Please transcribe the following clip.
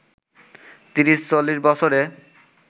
৩০-৪০ বছরে